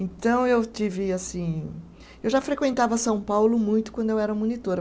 Então, eu tive assim, eu já frequentava São Paulo muito quando eu era monitora.